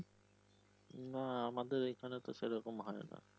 না আমাদের এখানে তো সেরকম হয় না